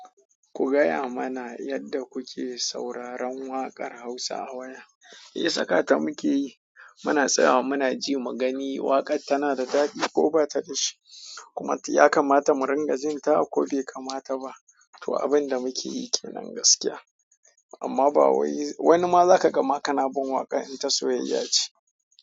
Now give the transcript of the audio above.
Ku gaya mana yadda kuke sauraron waƙar Hausa a waya. Me sakata muke yi? Muna tsaya muna ji mu gani waƙar tana da daɗi ko bata da shi, kuma ta yakamata mu ringa jinta ko bai kamata ba. To, abin da muke yi kenan gaskiya, amma ba wai wani ma za ka gama kana bin waƙa in ta soyayya ce.